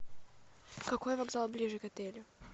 какой вокзал ближе к отелю